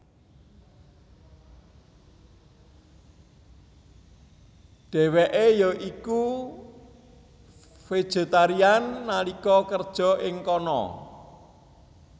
Dheweke ya iku vegetarian nalika kerja ing kana